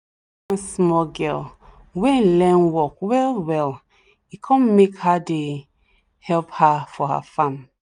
one small girl wen learn work well well e come make her dey help her for her farm